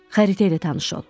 Xəritə ilə tanış ol.